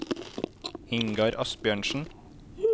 Ingar Asbjørnsen